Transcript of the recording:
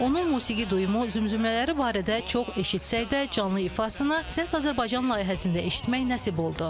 Onun musiqi duyumu, zümzümələri barədə çox eşitsək də, canlı ifasına Səs Azərbaycan layihəsində eşitmək nəsib oldu.